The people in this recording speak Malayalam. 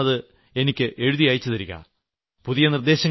നിങ്ങൾ തീർച്ചയായും അത് എനിക്ക് എഴുതി അയച്ചു തരിക